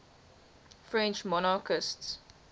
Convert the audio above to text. french monarchists